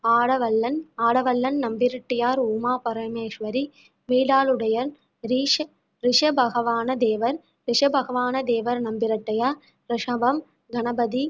ஆடவல்லான், ஆடவல்லான் நம்பிராட்டியார், உமா பரமேஸ்வரி, மிலாடுடையார், ரிஷ~ ரிஷபவாகனதேவர், ரிஷபவாகனதேவர் நம்பிராட்டியார், ரிஷபம், கணபதி